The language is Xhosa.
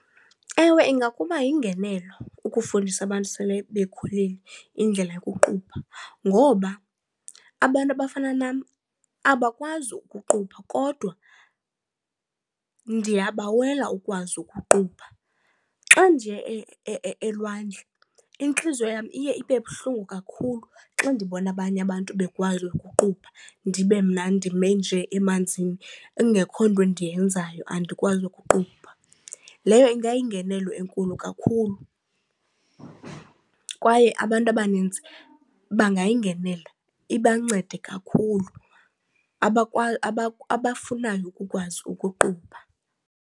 Ewe, ingakuba yingenelo ukufundisa abantu sele bekhulile indlela yokuqubha ngoba abantu abafana nam abakwazi ukuqubha kodwa ndiyabawela ukwazi ukuqubha. Xa ndiye elwandle intliziyo yam iye ibe buhlungu kakhulu xa ndibona abanye abantu bekwazi ukuqubha ndibe mna ndime nje emanzini kungekho nto ndiyenzayo andikwazi ukuqubha. Leyo ingayingenelo enkulu kakhulu, kwaye abantu abaninzi bangayingenela ibancede kakhulu abafunayo ukukwazi ukuqubha.